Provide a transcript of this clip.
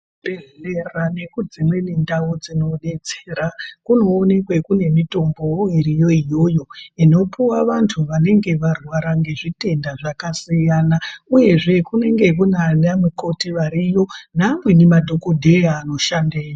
Kuzvibhedhlera nekudzimweni ndau dzinodetsera kunoonekwe kune mitombowo iriyo iyoyo inopuwa vantu vanenge varwara nezvitenda zvakasiyana, uyezve kunenge kunaana mukoti variyo, naamweni madhokodheya anoshandeyo.